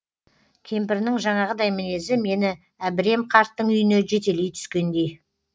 кемпірінің жаңағыдай мінезі мені әбірем қарттың үйіне жетелей түскендей